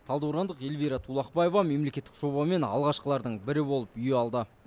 талдықорғандық эльвира тулақбаева мемлекеттік жобамен алғашқылардың бірі болып үй алды